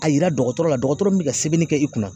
A yira dɔgɔtɔrɔ la dɔgɔtɔrɔ min bɛ ka sɛbɛnni kɛ i kunna